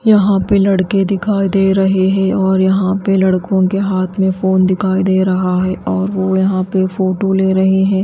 यहाँ पे लड़के दिखाई दे रहे हैं और यहाँ पे लड़कों के हाथ में फोन दिखाई दे रहा है और वो यहाँ पे फोटो ले रहे है।